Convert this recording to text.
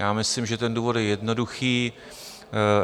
Já myslím, že ten důvod je jednoduchý.